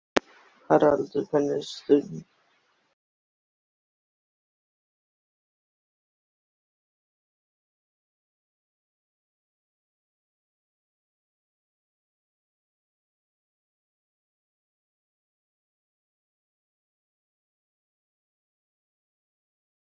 Ringluð hraðar hún sér milli marglitra rekka í áttina þangað.